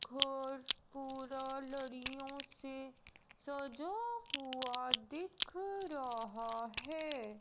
घर पूरा लड़ियों से सजा हुआ दिख रहा है।